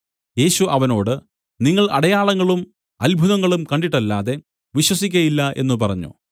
യേശു അവനോട് നിങ്ങൾ അടയാളങ്ങളും അത്ഭുതങ്ങളും കണ്ടിട്ടല്ലാതെ വിശ്വസിക്കയില്ല എന്നു പറഞ്ഞു